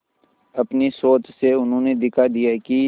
अपनी सोच से उन्होंने दिखा दिया कि